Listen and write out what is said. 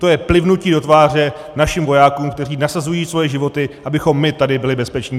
To je plivnutí do tváře našim vojákům, kteří nasazují svoje životy, abychom my tady byli bezpeční.